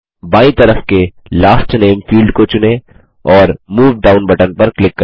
बायीं तरफ के लास्ट नामे फील्ड को चुनें और मूव डाउन बटन पर क्लिक करें